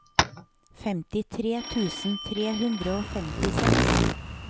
femtitre tusen tre hundre og femtiseks